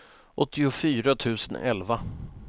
åttiofyra tusen elva